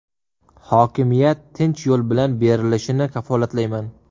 Hokimiyat tinch yo‘l bilan berilishini kafolatlayman.